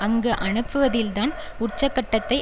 அங்கு அனுப்புவதில்தான் உச்சக்கட்டத்தை